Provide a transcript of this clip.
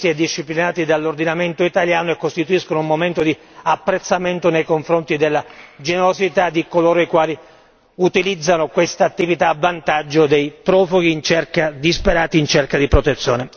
da un anno i soccorsi umanitari sono previsti e disciplinati dall'ordinamento italiano e costituiscono un momento di apprezzamento nei confronti della generosità di coloro i quali utilizzano quest'attività a vantaggio dei profughi disperati in cerca di protezione.